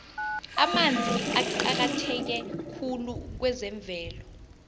amanzi aqakatheke khulu kwezemvelo